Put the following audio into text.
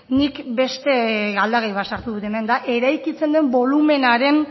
nik beste aldagai bat sartu dut hemen da eraikitzen den bolumenaren